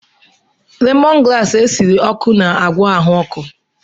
Lemọn graasị esiri ọkụ na-agwọ ahụ ọkụ.